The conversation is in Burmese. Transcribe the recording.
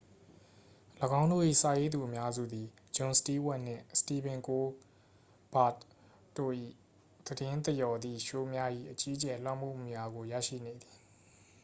၎င်းတို့၏ စာရေးသူအများစုသည် ဂျွန်စတီးဝပ်နှင့် စတီဗင်ကိုးလ်ဘာ့တ်တို့၏ သတင်းသရော်သည့်ရှိုးများ၏ အကြီးအကျယ်လွှမ်းမိုးမှုများကို ရရှိနေသည်